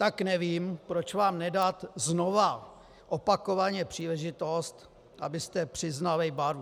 Tak nevím, proč vám nedat znova opakovaně příležitost, abyste přiznali barvu.